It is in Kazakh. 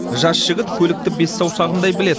жас жігіт көлікті бес саусағындай біледі